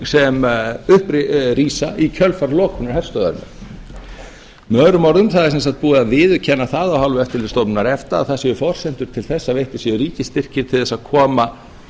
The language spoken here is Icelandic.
sem upp rísa í kjölfar lokunar herstöðvarinnar með öðrum orðum það er sem sagt búið að viðurkenna það af hálfu eftirlitsstofnunar efta að það séu forsendur til þess að veittir séu ríkisstyrkir til þess að koma